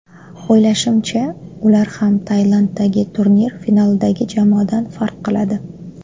O‘ylashimcha, ular ham Tailanddagi turnir finalidagi jamoadan farq qiladi.